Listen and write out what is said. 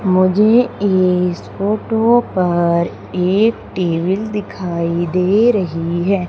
मुझे इस फोटो पर एक टेबिल दिखाई दे रही है।